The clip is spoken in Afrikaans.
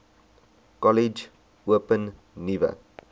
kollege open nuwe